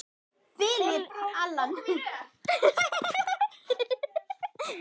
Philip, Allan.